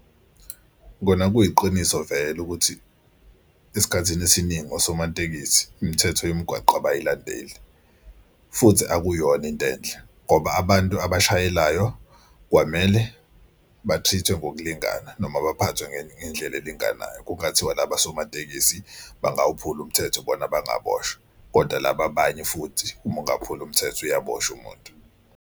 Kona kuyiqiniso vele ukuthi esikhathini esiningi osomatekisi imithetho yomgwaqo abayilandeli futhi akuyona into enhle ngoba abantu abashayelayo kwamele bathrithwe ngokulingana noma baphathwe ngendlela elinganayo. Kungathiwa laba osomatekisi bangakhuphula umthetho bona bangaboshwa kodwa laba abanye futhi uma ungaphula umthetho uyaboshwa umuntu.